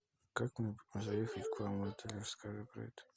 как мне заехать к вам в отель расскажи про это